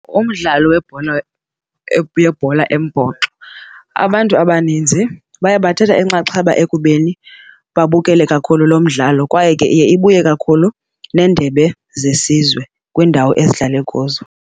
Umdlalo webhola yebhola embhoxo abantu abaninzi baye bathatha inxaxheba ekubeni babukele kakhulu lo mdlalo kwaye ke iye ibuye kakhulu nendebe zesizwe kwiindawo ezidlale kuzo.